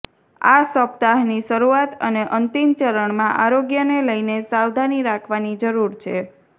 આ સપ્તાહની શરુઆત અને અંતિમ ચરણમાં આરોગ્યને લઇને સાવધાની રાખવાની જરુર છે